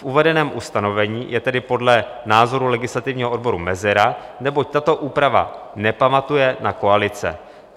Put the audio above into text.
V uvedeném ustanovení je tedy podle názoru legislativního odboru mezera, neboť tato úprava nepamatuje na koalice.